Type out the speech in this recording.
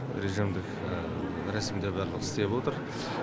режимдік рәсімде барлығы істеп отыр